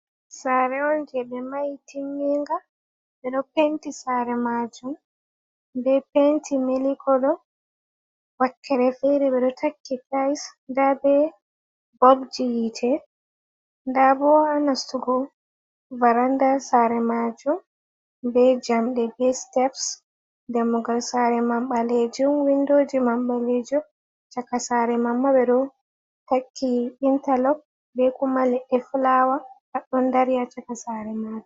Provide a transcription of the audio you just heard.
Saare on je ɓe mahi timninga, ɓe ɗo penti saare majuum be penti melik kolo, wakkere fere, ɓe ɗo takki tiyis nda ɓe bobji yite nda bo ha nastugo varanda saare majuum be jamɗe be siteps damugal saare majum ɓalejuum, windoji ma mbalejum, chaka saare maima ɓe ɗo takki intalok be kuma leɗɗe fulawa ɗon dari ha chaka saare majuum.